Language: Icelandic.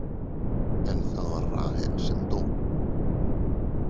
En það var Rahel sem dó.